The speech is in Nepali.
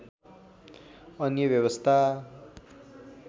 अन्य व्यवस्था